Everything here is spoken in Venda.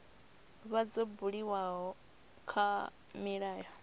vha dzo buliwa kha milayo